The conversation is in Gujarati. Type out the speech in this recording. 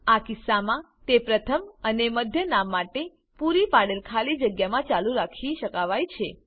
આ કિસ્સામાં તે પ્રથમ અને મધ્ય નામ માટે પૂરી પાડેલ ખાલી જગ્યામાં ચાલુ રાખી શકાવાય છે